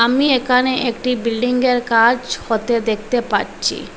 আমি একানে একটি বিল্ডিং -এর কাজ হতে দেকতে পাচ্চি।